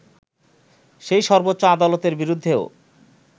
সেই সর্বোচ্চ আদালতের বিরুদ্ধেও